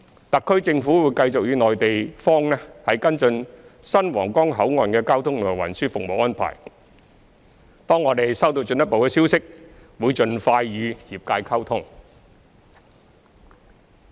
特區政府會繼續與內地方跟進新皇崗口岸的交通及運輸服務安排，當我們收到進一步消息，會盡快與業界溝通。